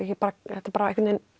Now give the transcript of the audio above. þetta bara